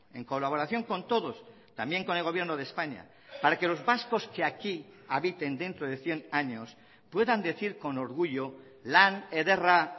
en colaboración con todos también con el gobierno de españa para que los vascos que aquí habiten dentro de cien años puedan decir con orgullo lan ederra